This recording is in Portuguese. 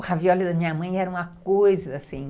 O ravióli da minha mãe era uma coisa assim...